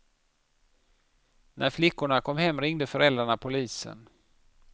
När flickorna kom hem ringde föräldrarna polisen.